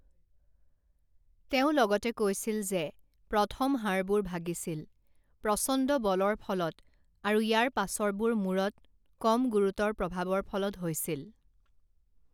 তেওঁ লগতে কৈছিল যে প্ৰথম হাড়বোৰ ভাগিছিল প্ৰচণ্ড বলৰ ফলত আৰু ইয়াৰ পাছৰবোৰ মূৰত কম গুৰুতৰ প্ৰভাৱৰ ফলত হৈছিল।